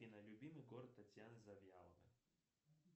афина любимый город татьяны завьяловой